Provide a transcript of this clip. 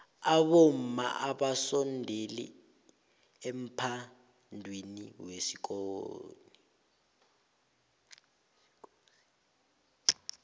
abomma abasondeli emphadwiniwekosini